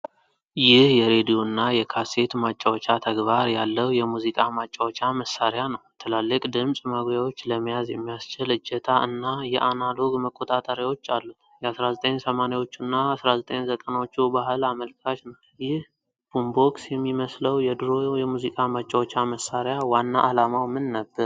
ይህ የሬድዮ እና የካሴት ማጫወቻ ተግባር ያለው የሙዚቃ ማጫወቻ መሳሪያ ነው። ትላልቅ ድምፅ ማጉያዎች፣ ለመያዝ የሚያስችል እጀታ፣ እና አናሎግ መቆጣጠሪያዎች አሉት። የ1980ዎቹ እና 1990ዎቹ ባህል አመልካች ነው። ይህ ቡምቦክስ የሚመስለው የድሮ የሙዚቃ ማጫወቻ መሳሪያ ዋና ዓላማው ምን ነበር?